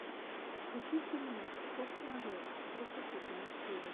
хочу фильмец форс мажоры тридцать седьмая серия